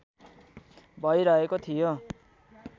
भइरहेको थियो